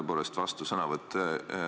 Tõepoolest, vastusõnavõtt.